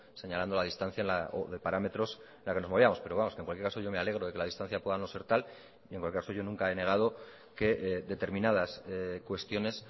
señalando la distancia o de parámetros la que nos movíamos pero vamos que en cualquier caso yo me alegro de que la distancia pueda no ser tal y en cualquier caso yo nunca he negado que determinadas cuestiones